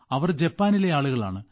അവർ ജപ്പാനിലെ ആളുകളാണ്